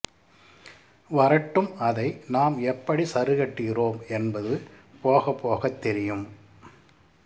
வரட்டும் அதை நாம் எப்படி சரிக்கட்டுகிறோம் என்பது போகப்போகத் தெரியும்